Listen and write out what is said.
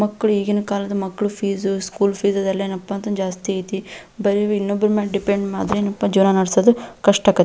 ಮಕ್ಕಳು ಈಗಿನ ಕಾಲದ ಮಕ್ಕಳ ಫೀಸ್ ಸ್ಕೂಲ್ ಫೀಸ್ ಇದೆಲ್ಲ ಏನಪ್ಪಾ ಅಂದ್ರೆ ಜಾಸ್ತಿ ಐತೆ ಬರಿ ಇನ್ನೊಬ್ಬರ ಮೇಲೆ ಡಿಪೆಂಡ್ ಆದ್ರೆ ಜೀವನ ನಡೆಸೋದು ಕಷ್ಟ ಆಗೈತಿ.